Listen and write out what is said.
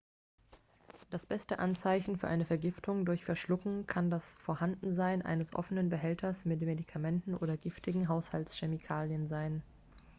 das beste anzeichen für eine vergiftung durch verschlucken kann das vorhandensein eines offenen behälters mit medikamenten oder giftigen haushaltschemikalien sein